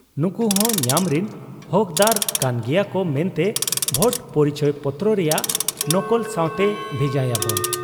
ᱱᱩᱠᱩᱦᱚᱸ ᱧᱟᱢᱨᱤᱱ ᱦᱚᱠᱫᱟᱨ ᱠᱟᱱ ᱜᱮᱭᱟᱠᱚ ᱢᱮᱱᱛᱮ ᱵᱷᱳᱴ ᱯᱚᱨᱤᱪᱚᱭᱯᱚᱛᱨᱚ ᱨᱮᱭᱟᱜ ᱱᱚᱠᱚᱞ ᱥᱟᱶᱛᱮ ᱵᱷᱮᱡᱟᱭᱟᱵᱚᱱ ᱾